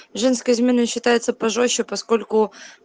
женская измена считается пожёстче поскольку